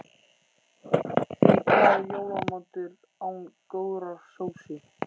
Því hvað er jólamatur án góðrar sósu?